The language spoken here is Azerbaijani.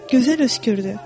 Gözəl öskürdü.